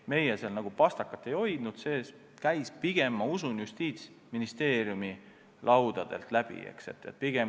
Meie seal pastakat ei hoidnud, see käis pigem, ma usun, Justiitsministeeriumi laudadelt läbi.